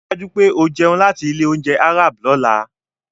Rí i dájú pé o jẹun láti ilé-oúnjẹ Arab lọ́la.